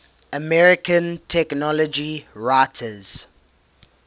american technology writers